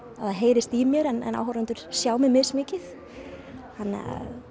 það heyrist í mér en áhorfendur sjá mig mismikið þannig að